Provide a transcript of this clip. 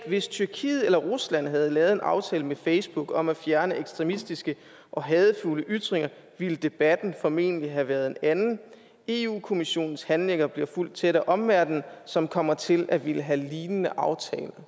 hvis tyrkiet eller rusland havde lavet en aftale med facebook om at fjerne ekstremistiske og hadefulde ytringer ville debatten formentlig have været en anden eu kommissionens handlinger bliver fulgt tæt af omverdenen som kommer til at ville have lignende aftaler